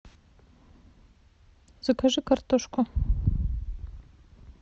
закажи картошку